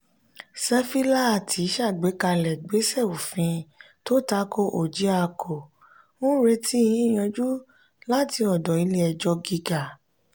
sefilaati ṣàgbékalẹ̀ igbesẹ òfin tó tako orjiako n retí yiyànjú lat'ọdọ ilé ẹjọ gíga.